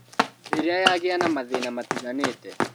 Rĩrĩa yagĩa na mathĩna matiganĩte